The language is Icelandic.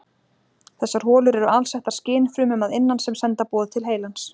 Þessar holur eru alsettar skynfrumum að innan sem senda boð til heilans.